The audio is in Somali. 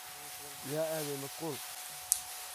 Yaa aadhey maasqul.